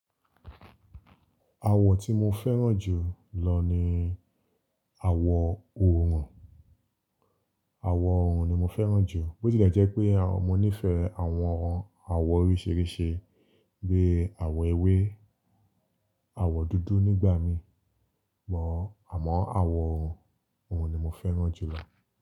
Àwọ̀ tí mo fẹ́ràn jù lọ ni àwọ̀ òòrùn. Àwọ̀ òòrùn ni mo fẹ́ràn jù. Bó tilẹ̀ jẹ́ pé mo nífẹ̀ẹ́ àwọn àwọ̀ oríṣìíríṣìí bí i àwọ̀ ewé, àwọ̀ dúdú nígbà mí mọ̀, àmọ́ àwọ̀ òòrùn ni mo fẹ́ràn jù lọ.